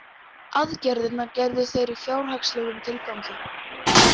Aðgerðirnar gerðu þeir í fjárhagslegum tilgangi